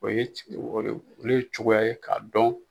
o ye olu ye cogoya ye k'a dɔn